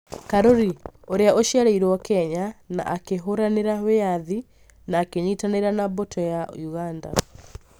Karuri: ũria ũciarĩirwo Kenya na akĩhũranĩra wĩathi na akĩnyitanĩra na mbũtũ ya Uganda